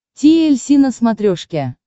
ти эль си на смотрешке